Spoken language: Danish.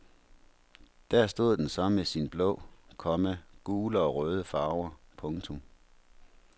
Der stod den så med sine blå, komma gule og røde farver. punktum